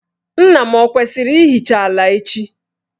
Nna m ọ kwesiri ịhicha ala echi?